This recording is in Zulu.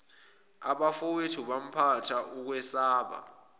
abafowethu phampatha ukwesaba